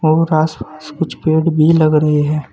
कुछ पेड भी लग रहे है।